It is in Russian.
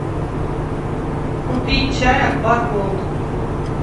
купить чай акбар голд